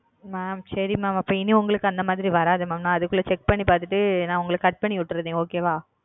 சரி mam இனி உங்களுக்கு அந்த மாரி வராது ந chek பண்ணி பாத்துட்டு அத cut பண்ணி விட்டாரே